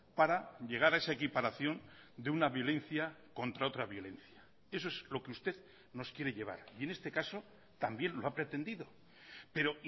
para llegar a esa equiparación de una violencia contra otra violencia eso es lo que usted nos quiere llevar y en este caso también lo ha pretendido pero